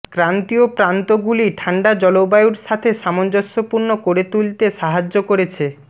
ক্রান্তীয় প্রান্তগুলি ঠান্ডা জলবায়ুগুলির সাথে সামঞ্জস্যপূর্ণ করে তুলতে সাহায্য করেছে